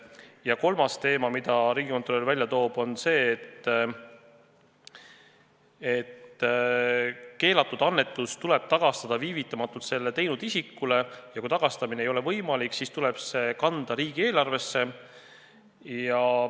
Ja kolmas teema, mille Riigikontroll välja toob, on see, et keelatud annetus tuleb tagastada viivitamatult selle teinud isikule ja kui tagastamine ei ole võimalik, siis tuleb see kanda riigieelarvesse.